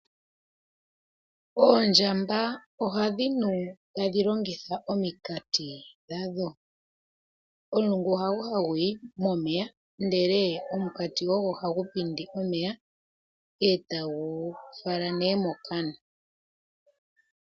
Oondjamba ohadhi nu tadhi longitha ominkati dha dho. Omulungu hago hagu yi momeya ndele omunkati ogo hagu pindi omeya eta gu tula mokana.